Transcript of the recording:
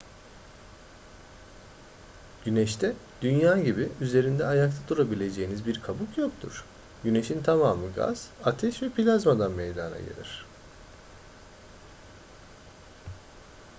güneşte dünya gibi üzerinde ayakta durabileceğiniz bir kabuk yoktur güneşin tamamı gaz ateş ve plazmadan meydana gelir